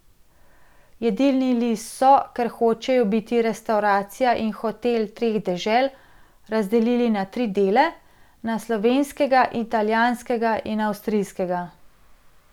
Jedilni list so, ker hočejo biti restavracija in hotel treh dežel, razdelili na tri dele, na slovenskega, italijanskega in avstrijskega.